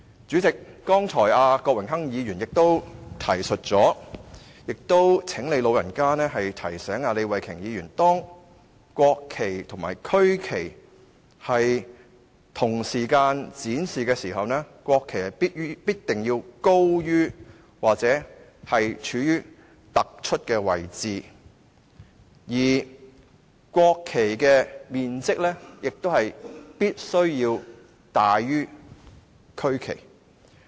主席，剛才郭榮鏗議員也提到，我也請你"老人家"提醒李慧琼議員，當國旗及區旗在同時間展示時，國旗必須高於區旗或處於突出的位置，而國旗的面積也必須大於區旗。